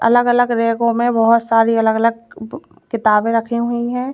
अलग अलग रैको में बहोत सारी अलग अलग किताबे रखी हुई है।